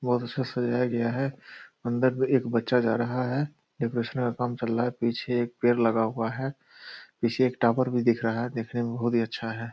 बहुत अच्छा सजाया गया है अन्दर भी में एक बच्चा जा रहा है डेकोरेशन का काम चल रहा है पीछे एक पेड़ लगा हुआ है पीछे एक टावर भी दिख रहा है देखने में बहुत हीं अच्छा है।